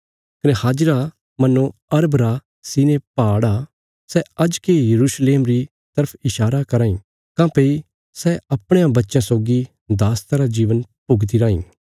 कने हाजिरा मानो अरब रा सिनै पहाड़ा आ सै अज्जके यरूशलेम री तरफ ईशारा कराँ इ काँह्भई सै अपणे बच्चयां सौगी दासता रा जीवन भुगती राईं